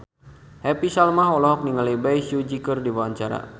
Happy Salma olohok ningali Bae Su Ji keur diwawancara